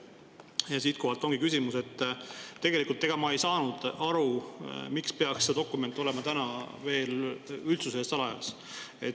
Ja siitkohalt ongi küsimus, et tegelikult ma ei saanud aru, miks peaks see dokument olema täna veel üldsuse eest salajas.